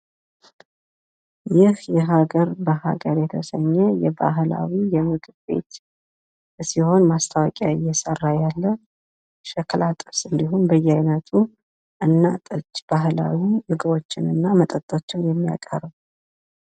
ይህ የሀገር በሀገር የተሰኘ የባህላዊ የምግብ ቤት ቢሆን ማስታወቂያ እየሰራ ያለ ሸክላ ጥብስ እንዲሁም በያይነቱ እና ጠጅ ባህላዊ ምግቦችን እና መጠጦችን ያቀርባል ።